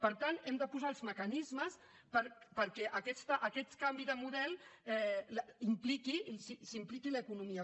per tant hem de posar els mecanismes perquè en aquest canvi de model s’hi impliqui l’economia